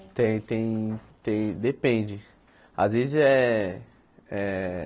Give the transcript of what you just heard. Tem tem tem depende às vezes é é